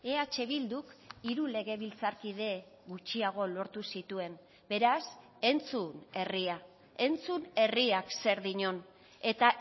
eh bilduk hiru legebiltzarkide gutxiago lortu zituen beraz entzun herria entzun herriak zer dion eta